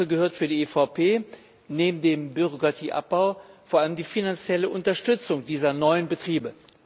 Dazu gehört für die EVP neben dem Bürokratieabbau vor allem die finanzielle Unterstützung dieser neuen Betriebe.